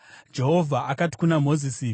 Jehovha akati kuna Mozisi: